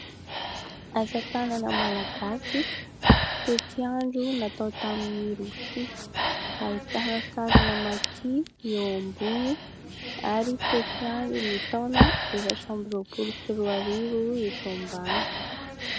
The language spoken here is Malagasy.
Asa tanana malagasy, tetiandro natao tamin'ny rofia, ahitana sarina maki ny eo ambony ary tetiandron'ny taona efatra amby roapolo sy roa arivo ny eto ambany.